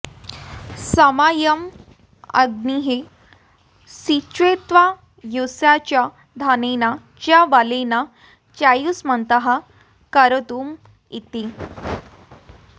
संमायमग्निः सिञ्चत्वायुषा च धनेन च बलेन चायुष्मन्तः करोतु मेति